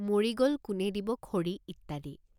মৰি গল কোনে দিব খৰি। ইত্যাদি।